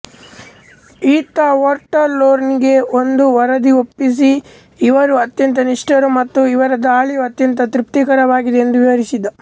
ಈತ ಒಕ್ಟ್ರರ್ಲೊನಿಗೆ ಒಂದು ವರದಿ ಒಪ್ಪಿಸಿ ಇವರು ಅತ್ಯಂತ ನಿಷ್ಟರು ಮತ್ತು ಇವರ ದಾಳಿಯು ಅತ್ಯಂತ ತೃಪ್ತಿಕರವಾಗಿದೆ ಎಂದು ವಿವರಿಸಿದ್ದ